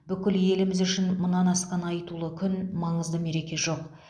бүкіл еліміз үшін мұнан асқан айтулы күн маңызды мереке жоқ